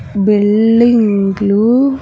బిల్డింగ్లు .